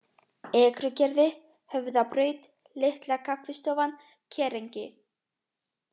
Ekrugerði, Höfðabraut, Litla-Kaffistofan, Kerengi